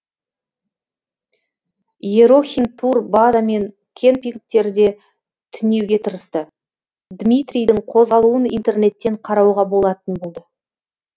ерохин турбаза мен кемпингтерде түнеуге тырысты дмитрийдің қозғалуын интернеттен қарауға болатын болды